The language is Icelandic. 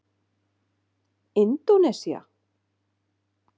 Indónesía